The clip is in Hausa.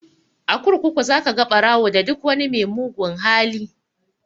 A kurkuku za ka ga ɓarawo da duk wani mai mugun hali